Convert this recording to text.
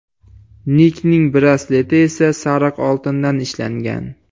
Nikning brasleti esa sariq oltindan ishlangan.